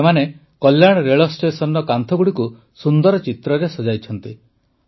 ସେମାନେ କଲ୍ୟାଣ ରେଳଷ୍ଟେସନର କାନ୍ଥଗୁଡ଼ିକୁ ସୁନ୍ଦର ଚିତ୍ରରେ ସଜାଇଛନ୍ତି